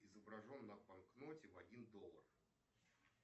изображен на банкноте в один доллар